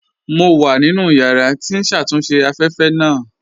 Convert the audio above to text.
Mo wà nínu yàrà tí n ṣatúnṣe afẹ́fẹ́ naa